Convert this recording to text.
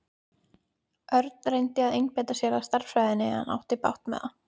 Örn reyndi að einbeita sér að stærðfræðinni en átti bágt með það.